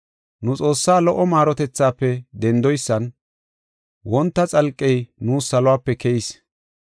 Nu Xoossaa lo77o maarotethaafe dendoysan wonta xalqey nuus saluwape keyis.